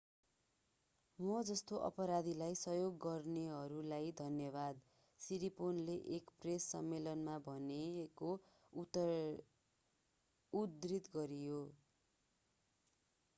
म जस्तो अपराधीलाई सहयोग गर्नेहरूलाई धन्यवाद सिरिपोर्नले एक प्रेस सम्मेलनमा भनेको उद्धृत गरियो